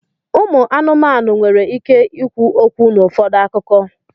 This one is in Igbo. ụmụ anụmanụ nwere ike ikwu okwu n'ụfọdụ akụkọ.